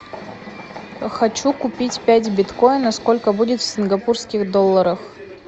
хочу купить пять биткоина сколько будет в сингапурских долларах